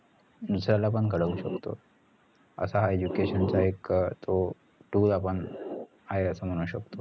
दुसऱ्याला पण घडवू शकतो असा हा education चा एक अं तो tool आहे असं आपण म्हणू शकतो